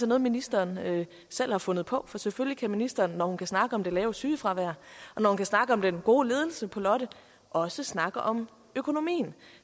noget ministeren selv har fundet på for selvfølgelig kan ministeren når hun kan snakke om det lave sygefravær og når hun kan snakke om den gode ledelse på lotte også snakke om økonomien